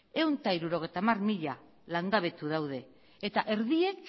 ehun eta hirurogeita hamar mila langabetu daude eta erdiek